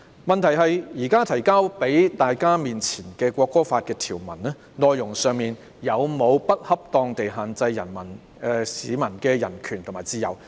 問題是，現時提交的《條例草案》條文，內容有沒有不恰當地限制市民的人權和自由？